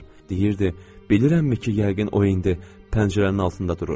Deyirdi: bilirsənmi ki, yəqin o indi pəncərənin altında durur?